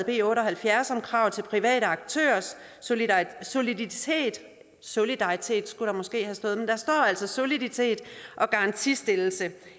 b otte og halvfjerds om krav til private aktørers soliditet solidaritet skulle der måske have stået men der står altså soliditet og garantistillelse